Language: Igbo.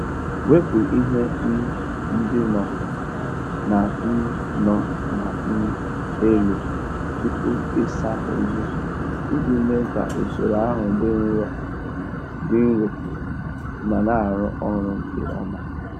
Wepụ ihe um ndị no na um no na um elu tupu ịsa uzuzu iji mee ka usoro ahụ dị nro ma na-arụ ọrụ nke ọma.